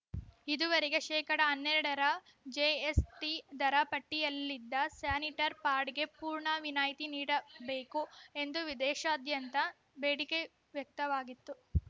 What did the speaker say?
ಇದುವರೆಗೆ ಶೇಕಡಾ ಹನ್ನೆರಡರ ಜೆ ಎಸ್‌ಟಿ ದರ ಪಟ್ಟಿಯಲ್ಲಿದ್ದ ಸ್ಯಾನಿಟರ್ ಪಾಡಿಗೆ ಪೂರ್ಣ ವಿನಾಯ್ತಿ ನೀಡಬೇಕು ಎಂದು ವಿದೇಶಾದ್ಯಂತ ಬೇಡಿಕೆ ವ್ಯಕ್ತವಾಗಿತ್ತು